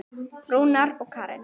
Rúnar og Karen.